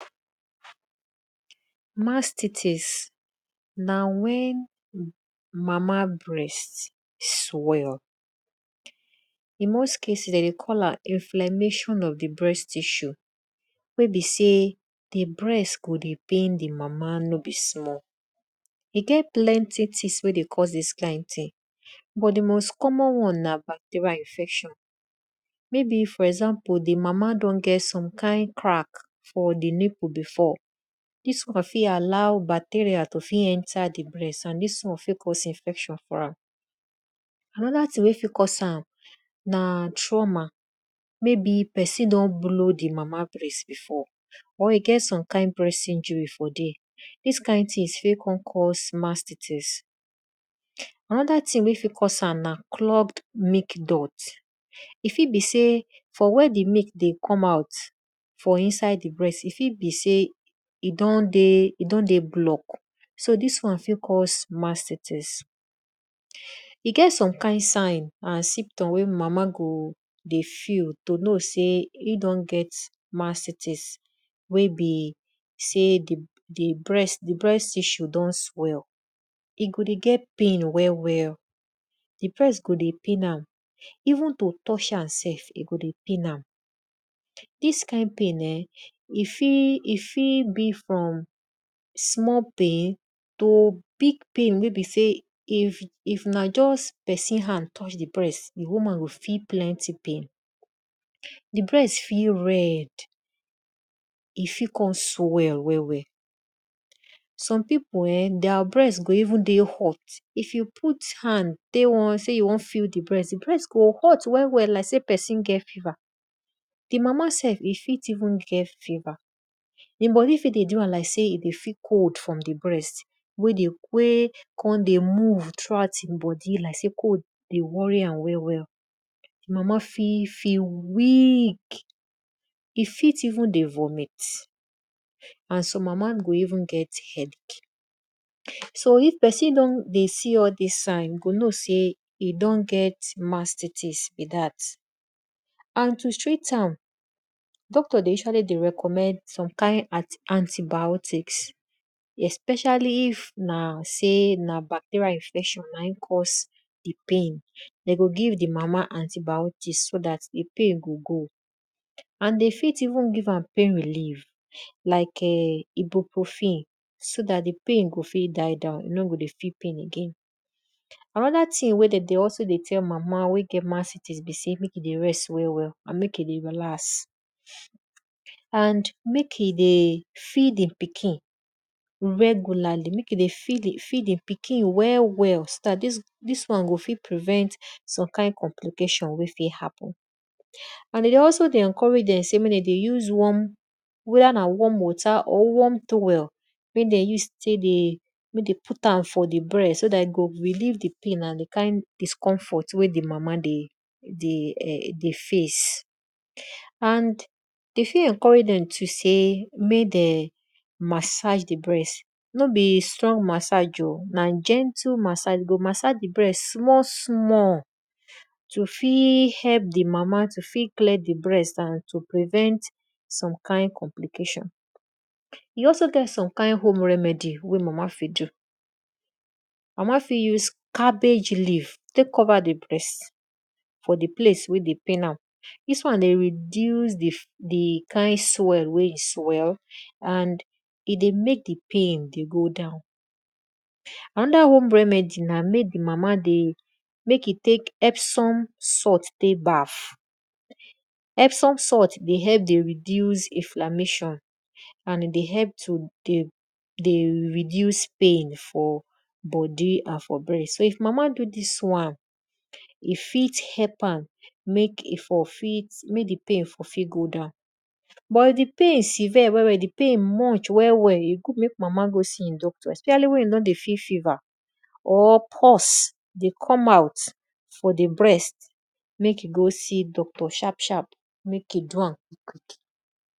Mastitis na wen mamabreast swell. In most cases, dedey call am inflammation of di breast tissue wey be sey di breast go dey pain di mama nob small. E get plenty things wey dey cause dis kind thing btu di most common won na bacterial infection maybe di mama fit don get some kind crack for di nipple before, di won go fit allow bacterial to fit enter di breast and dis won fit cause infection for ram. Anoda thing wey fit cause am na trauma.maybe pesin don blow di mama breast before or e ge som kind injury for there, dis kind thing fit cause mastitis. Anoda thing wey fit cause am na club milk blocked. E fit be sey for where di breast dey come out, e fit be sey e don dey blocked so dis won fit cause mastitis. E get some kind sign and symptoms to know if mama don get mastitis wey be sey di breat tissue don swell, e go dey get issue well well.di breast go dey pain am and to even to touch am sef, e go dey pain am. dis kind pain[um]e fit be from small pain to big pain wey be sey if na just pesin hand touch dio breast, di woman go feel plenty pain. Di breast fit red and fit kon swell well well. Some pipu[um]their breast gho even dey hot, if you put am tek wan sey you won feel di brest, di breast go hot well well like seypesin get fever. Di mama sef e fit even get fever di bodi fit dey do am like sey e dey feel cold from di breast wey dey wey kon dey move thorough out e bodi like sey cold dey worry am well well. Mama fit feel weak e fit even dey vomit and some mama go even get headach. So if pesin don dey see all dis sign you go know sey ypoi don get all dis mastitis be dat and to treat am, doctor dey usually dey recommend some kind anti- biotics especially na if na bacterial infection na e cause di pain, de go give di mama antibiotics so dat di pain go go. And de fit even give am pin relief like ibu-profen so dat di pain go fit die down and e no go dey feel di pain again. Anoda thing wey de fit tell mama wey get mastitis be sey mek e dey rest well well and mek e dey relax and mek e dey feed di pikin regularly mek yo dey fed di pikin well well so dat dis wan go fit prevent some kind complication wen fit happen. And e dey always dey encourage dem sey mek de dey se warmweda na warm water or warm towel wey de use tek dey mek dem put am for di breast so dat e go relieve di pain and di kind discomfort wey di mama dey face. And we fit encourage dem mek dem massage di breast no be striong massage o na gentle massage di breast small small to fit help di mama to fit clear di brat and prevent some kind complication. E also get some kind home remedy wey mama fir use, mama fit use cabbage leave tek cover di brast for di place wey dey pain am.di wan dey reduce di kind swell wey e swell and e dey mek di pain dey go down. Anoda home remedy na mek di mama mek e tek epsome salt tek bath. Epsome salt dey help dey reduce inflammation and e dey help to dey reduc pain for bodi and for breast so if mama do dis wan, e fit help am mek e for fit mek di pain for fit go down. But di pain severe di pain much well well, e good mk mama go see e doctor especially wen e don dey feel fever or pox dey come out for di breast mek e go se doctor sharp sharp mek e do am.